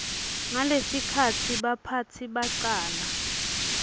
ngalesikhatsi baphatsi bacala